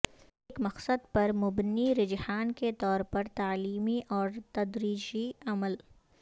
ایک مقصد پر مبنی رجحان کے طور پر تعلیمی اور تدریجی عمل